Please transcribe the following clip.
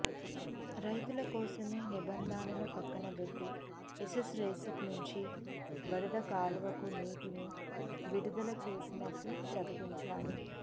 రైతుల కోసమే నిబంధనలను పక్కనబెట్టి ఎస్సారెస్పీ నుంచి వరద కాలువకు నీటిని విడుదల చేసినట్లు ప్రకటించారు